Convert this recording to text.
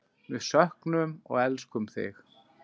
Við söknum og elskum þig.